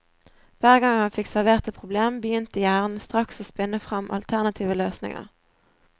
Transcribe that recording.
Hver gang han fikk servert et problem, begynte hjernen straks å spinne fram alternative løsninger.